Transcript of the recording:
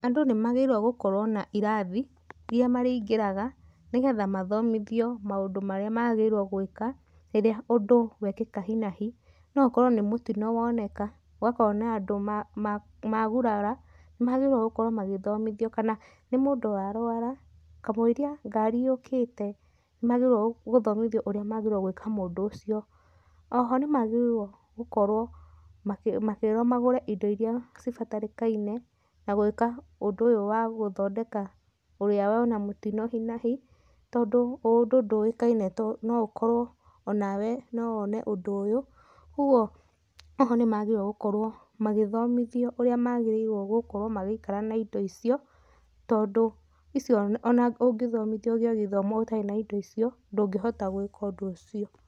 Andũ nĩ magĩrĩirũo gũkorũo na irathi irĩa marĩingĩraga nĩgetha mathomithio maũndu marĩa magĩrĩirũo gwĩka rĩrĩa ũndũ wekĩka hi na hi, no ũkorũo nĩ mũtino woneka gwakorũo na andũ magurara, nĩ magĩrĩirũo gũkorũo magĩthomithio. Kana nĩ mũndũ wa rũara, kamũiria ngari yũkĩte nĩ magĩrĩirũo gũthomithio ũrĩa mangĩka mũndũ ũcio. O ho nĩ magĩrĩirũo gũkorũo makĩĩrũo magũre indo irĩa cibarĩkainie na gwĩka ũndũ ũyũ wa gũthondeka ũrĩa wona mũtino hi na hi tondũ ũndũ ndũĩkaine no ũkorũo ona we no wone ũndũ ũyũ. Kwoguo o ho nĩ magĩrĩirũo gũkorũo magĩthomithio ũrĩa magĩrĩirũo gũkorũo magĩikara na indo icio tondũ icio ona ũngĩthomithio ũgĩe gĩthomo ũtarĩ na indo icio ndũngĩhota gwĩka ũndũ ũcio.